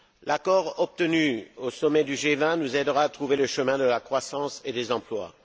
L'accord obtenu au sommet du G20 nous aidera à trouver le chemin de la croissance et des emplois.